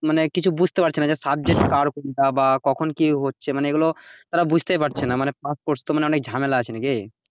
মানে কিছু বুঝতে পারছিনা যে subject কার কোনটা বা কখন কি হচ্ছে মানে এগুলো ওরা বুঝতেই পারছি না মানে মানে pass course তো মানে অনেক ঝামেলা আছে নাকি,